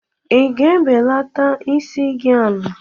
Ị ga-ebelata isi gị ala?